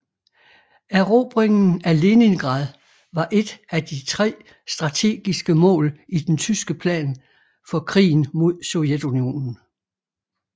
Erobringen af Leningrad var et af de tre strategiske mål i den tyske plan for krigen mod Sovjetunionen